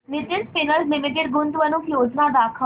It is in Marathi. नितिन स्पिनर्स लिमिटेड गुंतवणूक योजना दाखव